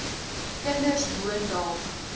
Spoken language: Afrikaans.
kinders woon dalk